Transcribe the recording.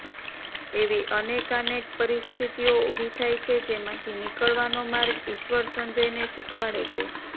એવી અનેકાનેક પરિસ્થિતિઓ ઊભી થાય છે જેમાંથી નીકળવાનો માર્ગ ઈશ્વર સંજયને શીખવાડે છે